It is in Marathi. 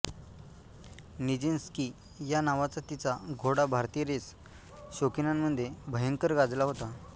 निजीन्स्की या नावाचा तिचा घोडा भारतीय रेस शौकीनांमध्ये भयंकर गाजला होता